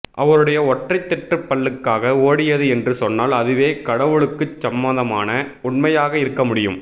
அவருடைய ஒற்றைத் தெற்றுப்பல்லுக்காக ஓடியது என்று சொன்னால் அதுவே கடவுளுக்குச் சம்மதமான உண்மையாக இருக்க முடியும்